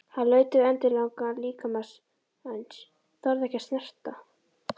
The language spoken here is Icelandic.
Hann laut yfir endilangan líkama mannsins, þorði ekki að snerta.